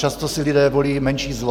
Často si lidé volí menší zlo.